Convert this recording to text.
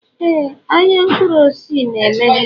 Éè ahịa mkpụrụ osisi na-emeghe.